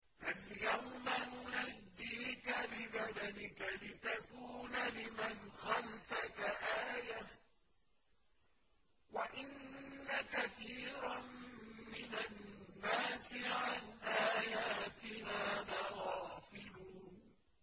فَالْيَوْمَ نُنَجِّيكَ بِبَدَنِكَ لِتَكُونَ لِمَنْ خَلْفَكَ آيَةً ۚ وَإِنَّ كَثِيرًا مِّنَ النَّاسِ عَنْ آيَاتِنَا لَغَافِلُونَ